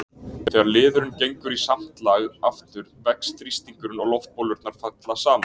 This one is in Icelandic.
þegar liðurinn gengur í samt lag aftur vex þrýstingurinn og loftbólurnar falla saman